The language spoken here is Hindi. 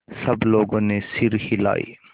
सब लोगों ने सिर हिलाए